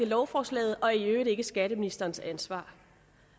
lovforslaget og i øvrigt ikke er skatteministerens ansvar